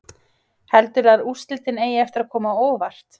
Heldurðu að úrslitin eigi eftir að koma á óvart?